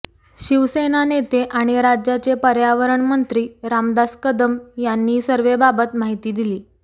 शिवसेना नेते आणि राज्याचे पर्यावरण मंत्री रामदास कदम यांनी सर्व्हेबाबत माहिती दिली